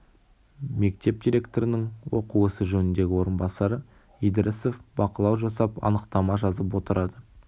мектеп директорының оқу ісі жөніндегі орынбасары идрисов бақылау жасап анықтама жазып отырады